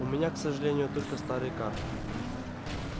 у меня к сожалению только старые карты